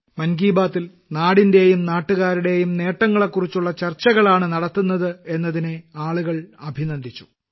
മൻ കി ബാത്തിൽ നാടിന്റെയും നാട്ടുകാരുടെയും നേട്ടങ്ങളെക്കുറിച്ചുള്ള ചർച്ചകളാണ് നടത്തുന്നത് എന്നതിനെ ആളുകൾ അഭിനന്ദിച്ചു